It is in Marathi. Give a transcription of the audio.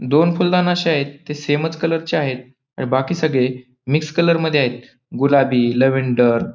दोन फुलदान अशे आहेत ते सेमच कलरचे आहेत आणि बाकी सगळे मिक्स कलर मध्ये आहेत गुलाबी लव्हेंडर --